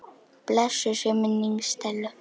Blessuð sé minning Stellu.